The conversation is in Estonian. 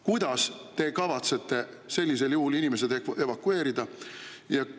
Kuidas te kavatsete sellisel juhul inimesi evakueerida?